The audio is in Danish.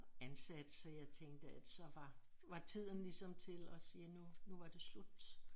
Ansat så jeg tænkte at så var var tiden ligesom til at sige nu nu var det slut